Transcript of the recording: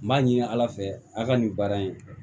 N b'a ɲini ala fɛ a ka nin baara in